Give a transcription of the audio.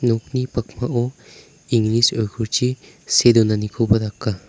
nokni pakmao inglis oikorchi see donanikoba daka.